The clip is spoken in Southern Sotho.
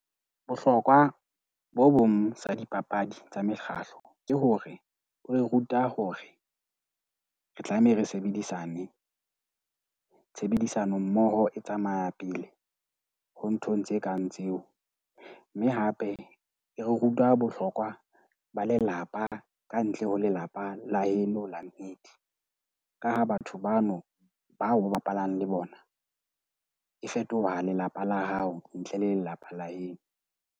Bohlokwa bo bong sa dipapadi tsa mekgahlo ke hore e re ruta hore re tlameha re sebedisane. Tshebedisano mmoho e tsamaya pele ho nthong tse kang tseo, mme hape e re ruta bohlokwa ba lelapa ka ntle ho lelapa la heno Launched . Ka ha batho bano bao o ba bapalang le bona e fetoha lelapa la hao ntle le lelapa la heno.